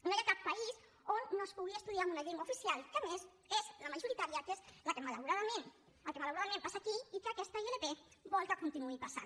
no hi ha cap país on no es pugui estudiar en una llengua oficial que a més és la majoritària que és el que malauradament passa aquí i que aquesta ilp vol que continuï passant